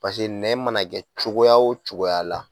Pase nɛn mana kɛ cogoya o cogoya la